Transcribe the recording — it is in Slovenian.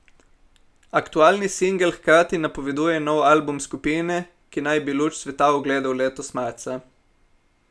Aktualni singel hkrati napoveduje nov album skupine, ki naj bi luč sveta ugledal letos marca.